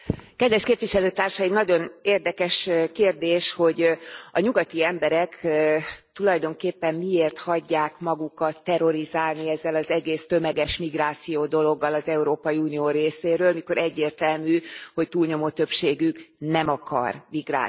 Elnök Asszony, nagyon érdekes kérdés, hogy a nyugati emberek tulajdonképpen miért hagyják magukat terrorizálni ezzel az egész tömeges migráció dologgal az Európai Unió részéről, mikor egyértelmű, hogy túlnyomó többségük nem akar migrációt.